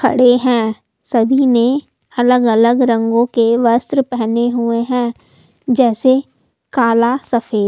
खड़े हैं सभी ने अलग-अलग रंगों के वस्त्र पहने हुए हैं जैसे काला सफेद--